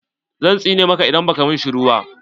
Zan tsine maka idan baka min shiru ba